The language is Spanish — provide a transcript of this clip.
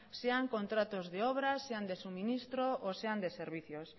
sean contratos de obra sean de suministro o sean de servicios